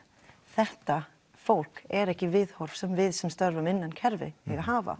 þetta fólk er ekki viðhorf sem við sem störfum innan kerfi eiga að hafa